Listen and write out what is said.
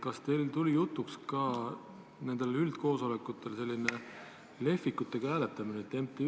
Kas teil tuli jutuks ka nendel üldkoosolekutel nn lehvikutega hääletamine?